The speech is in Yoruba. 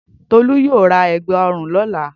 Tolú yóò ra ẹ̀gbá-ọrùn lọ́la.